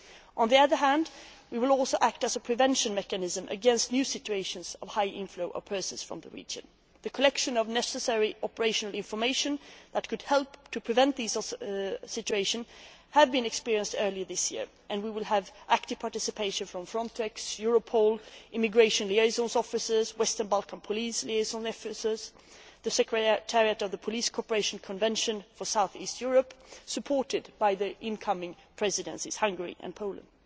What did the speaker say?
On the other hand, we will also act as a prevention mechanism against new situations of high in flow of persons from the region. The collection of the necessary operational information that could help to prevent these situations was done early this year, and we will have active participation from Frontex, Europol, immigration liaison officers, Western Balkan police liaison officers and the secretariat of the Police Corporation Convention for South East Europe, supported by the incoming presidencies Hungary and